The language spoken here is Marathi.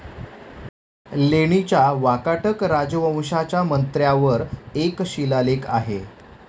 लेणीच्या वाकाटक राजवंशाच्या मंत्र्यावर एक शिलालेख आहे.